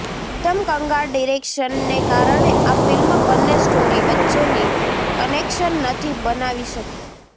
એકદમ કંગાળ ડિરેક્શનને કારણે આ ફિલ્મ બન્ને સ્ટોરી વચ્ચેની કનેક્શન નથી બનાવી શકી